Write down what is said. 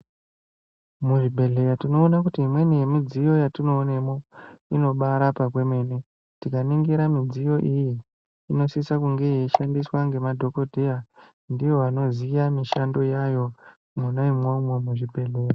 Muzvibhedhlera tinoone kuti imweni yemidziyo yatinoonemo inobaarapa kwemene, tikaningira midziyo iyi inoshandiswe ngemadhokoteya ndivo vanoziya mishando yayo mwona imwomwo muzvibhedhlera.